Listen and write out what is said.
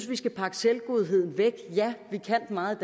vi skal pakke selvgodheden væk ja vi kan meget